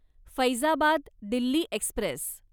Faizabad Delhi Express